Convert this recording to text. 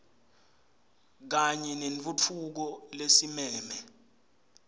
kanye nentfutfuko lesimeme